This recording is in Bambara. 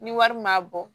Ni wari m'a bɔ